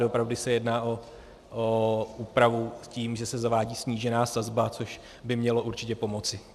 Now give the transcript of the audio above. Doopravdy se jedná o úpravu s tím, že se zavádí snížená sazba, což by mělo určitě pomoci.